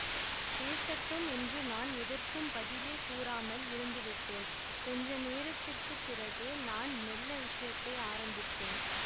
பேசட்டும் என்று நான் எதற்கும் பதிலே கூறாமல் இருந்துவிட்டேன் கொஞ்ச நேரத்திற்க்குப் பிறகு நான் மெள்ள விஷயத்தை ஆரம்பித்தேன்